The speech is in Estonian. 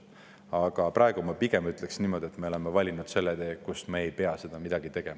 Aga praegu ma pigem ütleksin niimoodi, et me oleme valinud sellise tee, kus me ei pea midagi sellist tegema.